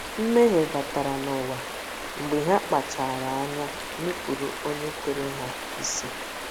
Mmehie ‘ batara n’ụwa ’ mgbe ha kpachaara anya nupụrụ Onye kere ha isi.